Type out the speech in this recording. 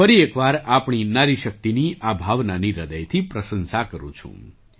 હું ફરી એક વાર આપણી નારી શક્તિની આ ભાવનાની હૃદયથી પ્રશંસા કરું છું